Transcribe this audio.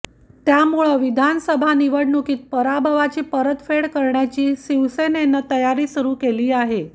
त्यामुळं विधानसभा निवडणुकीत पराभवाची परतफेड करण्याची शिवसेनेनं तयारी सुरु केली आहे